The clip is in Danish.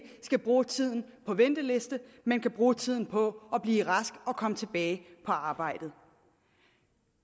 skal bruge tiden på venteliste men kan bruge tiden på at blive rask og komme tilbage på arbejdet